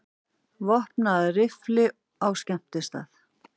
Vopnaður riffli á skemmtistað